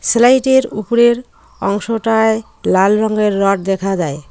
সেলাইডের উপরের অংশটায় লাল রঙের রড দেখা যায়।